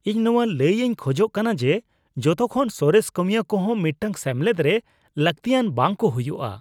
ᱤᱧ ᱱᱚᱶᱟ ᱞᱟᱹᱭ ᱤᱧ ᱠᱷᱚᱡᱚᱜ ᱠᱟᱱᱟ ᱡᱮ ᱡᱚᱛᱚᱠᱷᱚᱱ ᱥᱚᱨᱮᱥ ᱠᱟᱹᱢᱤᱭᱟᱹ ᱠᱚᱦᱚᱸ ᱢᱤᱫᱴᱟᱝ ᱥᱮᱢᱞᱮᱫ ᱨᱮ ᱞᱟᱹᱠᱛᱤᱭᱟᱱ ᱵᱟᱝ ᱠᱚ ᱦᱩᱭᱩᱜᱼᱟ ᱾